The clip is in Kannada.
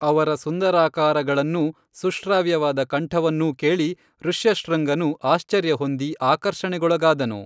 ಅವರ ಸುಂದರಾಕಾರಗಳನ್ನೂ ಸುಶ್ರಾವ್ಯವಾದ ಕಂಠವನ್ನೂ ಕೇಳಿ ಋಷ್ಯಶೃಂಗನು ಆಶ್ಚರ್ಯ ಹೊಂದಿ ಆಕರ್ಷಣೆಗೊಳಗಾದನು